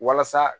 Walasa